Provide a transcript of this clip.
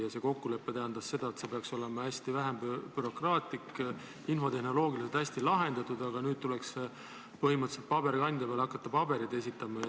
Ja see kokkulepe tähendas seda, et see peaks olema hästi vähe bürokraatlik, infotehnoloogiliselt hästi lahendatud, aga nüüd tuleks põhimõtteliselt hakata veel pabereid esitama.